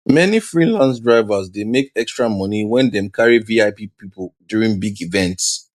many freelance drivers dey make extra money when dem carry vip people during big events